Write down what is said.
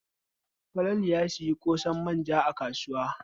Falalu ya sayi ƙosan manja a kasuwa.